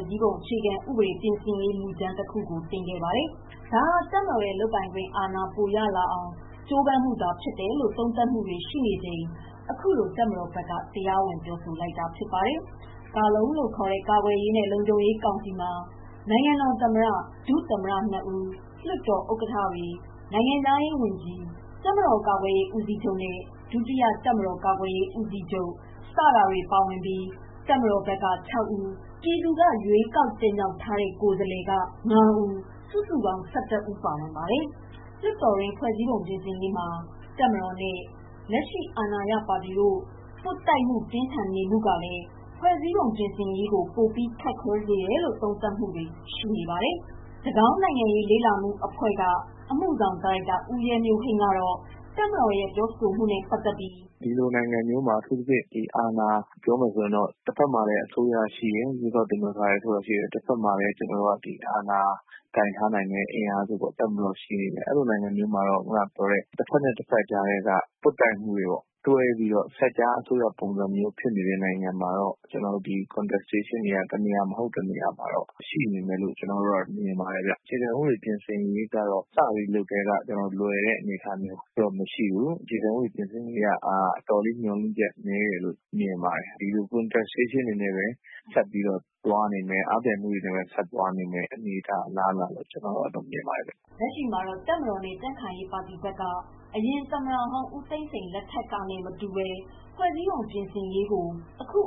၀၀၈ အခြေခံဥပဒေပြင်ဆင်ရေး မူကြမ်းတခုတင်ခဲ့ပါတယ်။ ဒါဟာတပ်မတော်ရဲ့လုပ်ပိုင်ခွင့်အာဏာ ပိုရလာအောင် ကြိုးပမ်းမှုသာဖြစ်တယ်လို့ သုံးသပ်မှုတွေရှိနေချိန် အခုလိုတပ်မတော်ဘက်က တရားဝင် ပြောဆိုလိုက်တာဖြစ်တယ်။ ကာလုံလို့ခေါ်တဲ့ ကာကွယ်ရေးနဲ့လုံခြုံရေးကောင်စီမှာ နိုင်ငံတော် သမ္မတ ၊ ဒုသမ္မတ နှစ်ဦး၊ လွှတ်တော် ဥက္ကဋ္ဌတွေ၊ နိုင်ငံခြားရေး ဝန်ကြီး ၊ တပ်မတော် ကာကွယ်ရေး ဦးစီးချုပ်နဲ့ ဒုတိယ တပ်မတော် ကာကွယ်ရေး ဦးစီးချုပ် စတဲ့ သူတွေပါဝင်ပြီး တပ်မတော်ဘက်က (၆) ဦး၊ ပြည်သူက ရွေးကောက်တင်မြောက်ထားတဲ့ ကိုယ်စားလှယ်တွေဘက်က (၅) ဦး၊ စုစုပေါင်း (၁၁) ဦး ပါဝင်ပါတယ်။ လွှတ်တော်တွင်း ဖွဲ့စည်းပုံပြင်ဆင်ရေးမှာ တပ်မတော်နဲ့ လက်ရှိ အာဏာရပါတီတို့ ပွတ်တိုက် မှုပြင်းထန်နေမှုက ဖွဲ့စည်းပုံပြင်ဆင်ရေးကို ပိုပြီး ခက်ခဲစေမယ်လို့ သုံးသပ်နေကြပါတယ်။ တကောင်းအင်စတီကျူက အမှုဆောင်ဒါရိုက်တာ ဦးရဲမျိုးဟိန်း ကတော့ တပ်မတော်ရဲ့ ပြောဆိုလာမှုနဲ့ပတ်သတ်ပြီး “ကျနော်တို့ဒီနိုင်ငံလိုမျိုးမှာ အထူးသဖြင့် ဒီအာဏာ ပြောမယ်ဆိုရင်တော့ တဖက်မှာ ရွေးကောက်တင်မြောက်ထားတဲ့ အစိုးရ ရှိတယ်၊ တဘက် ကလည်း အာဏာ ကိုင်ထားတဲ့ အင်အားစုပေါ့ တပ်မတော်ရှိနေတယ် အဲလိုမျိုး နိုင်ငံမျိုးမှာတော့ တဖက်နဲ့ တဖက်အကြား ပွတ်တိုက်မှုတွေနဲ့ တွဲပြီးတော့ဖြစ်နေတဲ့ နိုင်ငံမှာတော့ တနေရာမဟုတ် တနေရာမှာတော့ ပွတ်တိုက်မှုတွေ ရှိနေမယ်လို့ မြင်တယ် ။ အခြေခံဥပဒေ စပြီးလုပ်ကတည်းက လွယ်တဲ့အနေအထားမျိုးတော့ မရှိဘူး။ အခြေခံဥပဒေပြင်ဆင်မှုတွေက အတော်လေး မျှော်လင့်ချက် နည်းတယ်လို့ မြင်ပါတယ်။ ဒီလို ပွတ်တိုက်မှုတွေ အားပြိုင်မှုတွေနဲ့ပဲ ဆက်ပြီးတော့ သွားနေမယ့် အနေအထား အလားအလာလို့ မြင်ပါတယ်။” လက်ရှိမှာတော့ တပ်မတော်နဲ့ ကြံခိုင်ရေးပါတီဘက်က အရင်ဦးသိန်းစိန် လက်ထက်ကနဲ့ မတူဘဲ ဖွဲ့စည်းပုံပြင်ရေးကို အခု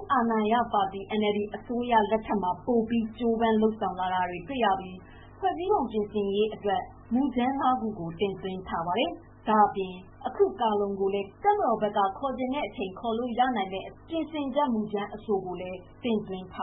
NLD အစိုးရလက်ထက်မှာ ပိုကြိုးပမ်းလာနေတာကို တွေ့ရပြီး ဖွဲ့စည်းပုံပြင်ဆင်ရေးအတွက် မူကြမ်း ၅ခု တင်သွင်းထားပြီး ဖြစ်ပါတယ်။ ဒါ့အပြင် အခု ကာ/လုံကိုလဲ တပ်မတော်ဘက်က ခေါ်ချင်တဲ့အချိန် ခေါ်လို့ရနိုင်မယ့် ပြင်ဆင်ချက်မူကြမ်းအဆိုကို တင်သွင်းထား